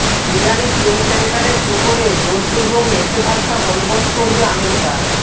ইরানি তেল ট্যাংকারের উপরে জোরপূর্বক নিষেধাজ্ঞা বলবৎ করবে আমেরিকা